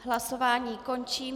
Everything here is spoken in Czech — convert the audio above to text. Hlasování končím.